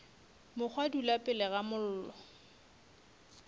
mokgwa dula pele ga mollo